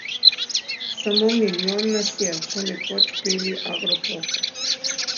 Samo milijon nas je, so nekoč peli Agropop.